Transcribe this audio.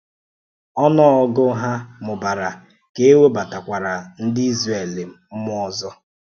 Ọnụ́gụ̀ hà mụ́bara ka e webàtàkwàrà ndị̀ Izrel mmụọ ọzọ.